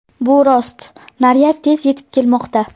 Bu rost, naryad tez yetib kelmoqda.